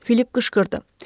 Filipp qışqırdı.